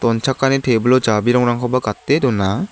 donchakani tebil -o jabirongrangkoba gate dona.